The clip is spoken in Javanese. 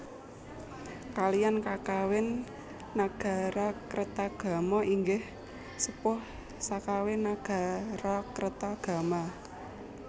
Kaliyan kakawin Nagarakretagama inggih sepuh kakawin Nagarakretagama